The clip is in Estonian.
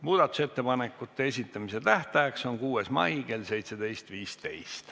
Muudatusettepanekute esitamise tähtaeg on 6. mai kell 17.15.